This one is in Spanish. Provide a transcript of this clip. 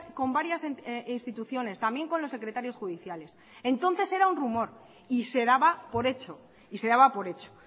con varias instituciones también con los secretarios judiciales entonces era un rumor y se daba por hecho y se daba por hecho